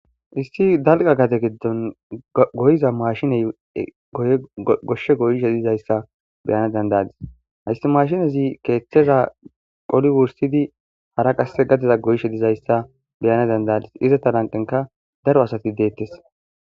Issi dalgga gade giddon goyiza maashinee goshsha goyishe dizayssa be7ana dandda7aas; hayssi maashinezi keeththeshaa qoli wurssidi hara qassi gadia goyishe dizayssa be7ana dandd7aas; izatha lanqqenkka dara sathi deeththes.